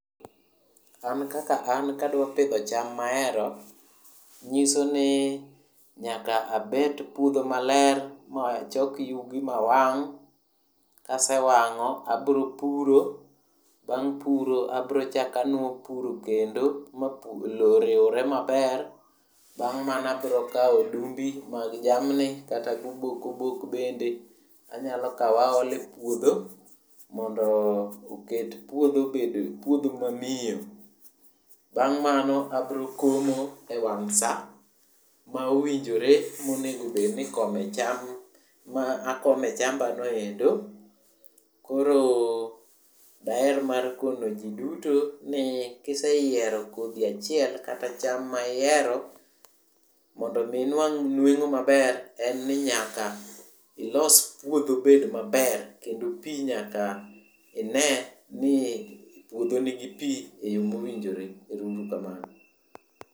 An kaka an kadwa pidho cham mahero nyiso ni nyaka abet puodho maler machok yugi mawang'. Kasewang'o abiro puro. Bang' puro abiro chako apuro kendo mondo lowo oriwre maber. Bang' mano abiro kawo odumbi mag jamni kata gobok obok bende anyalo kawo aole puodho mondo get puodho obed puodho mamiyo. Bang' mano abiro komo e wang' sa ma owinjore monego bed ni ikome cham ma akome chambano endo. Koro daher mar kono ji duto ni kiseyiero kodhi achiel kata cham ma ihero, mondo omi inwang' nweng'o maber en ni, nyaka ilos puodho obet maber kendo pi nyaka ine ni puodho nigi pi e yo mowinjore. Ero uru kamano.